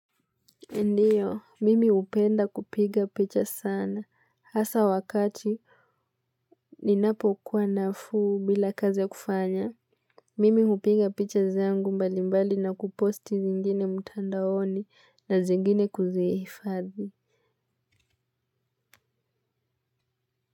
Ndiyo, mimi upenda kupiga picha sana, hasa wakati ni napo kuwa nafuu bila kazi ya kufanya, mimi upiga picha zangu mbali mbali na kuposti zingine mutandaoni na zingine kuziifadhi.